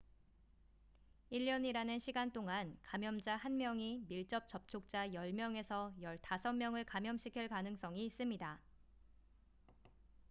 1년이라는 시간 동안 감염자 1명이 밀접 접촉자 10명에서 15명을 감염시킬 가능성이 있습니다